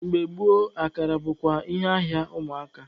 Mgbe gboo, akara bụkwa ihe ahịa ụmụaka.